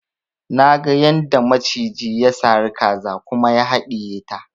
Naga yadda maciji ya sari kaza kuma ya haɗiye ta